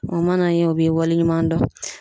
O mana kɛ o b'i waleɲumandɔn